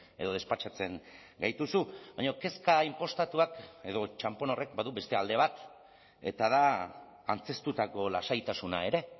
edo despatxatzen gaituzu baina kezka inpostatuak edo txanpon horrek badu beste alde bat eta da antzeztutako lasaitasuna ere